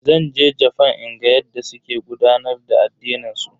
Zan je Jafan in ga yadda suke gudanar da addinin su.